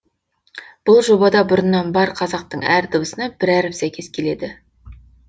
бұл жобада бұрыннан бар қазақтың әр дыбысына бір әріп сәйкес келеді